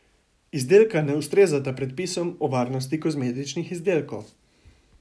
Izdelka ne ustrezata predpisom o varnosti kozmetičnih izdelkov.